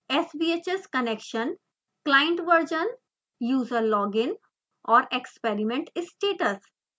sbhs connection client version user login और experiment status